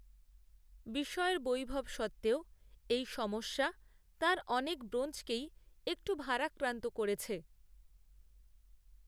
বিষয়ের বৈভব সত্ত্বেও এই সমস্যা তাঁর অনেক ব্রোঞ্জকেই একটু ভারাক্রান্ত করেছে